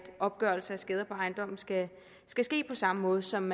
opgørelse af skader på ejendommen skal ske ske på samme måde som